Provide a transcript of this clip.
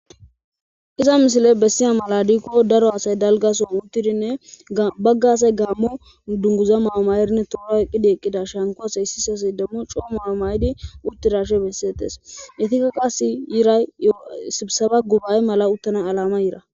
iza misile bessiya mala diikko daro asay dalgason uttidinne baggasay gaammo dunguza maamayerinne toora eqqidi eqqida shankoa heyssisasy dammo coo maama7idi uttirashe bessieetes etikka kasi yiray y sisaba gubaye mala uttana alama yira